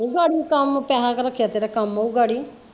ਗਾੜਿਓ ਕਾਮ ਪੈਸਾ ਰੱਖਿਆ ਤੇਰਾ ਕੰਮ ਆਉ ਗਾੜਿਓਂ।